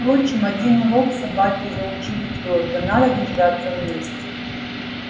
впрочем один урок собаки заучили твёрдо надо держаться вместе